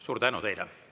Suur tänu teile!